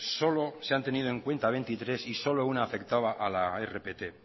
solo se han tenido en cuenta veintitrés y solo una afectaba a la rpt